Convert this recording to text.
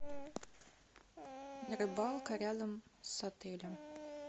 рыбалка рядом с отелем